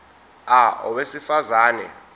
a owesifaz ane